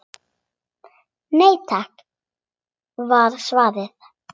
Nei takk var svarið.